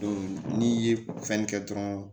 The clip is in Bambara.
n'i ye fɛnni kɛ dɔrɔn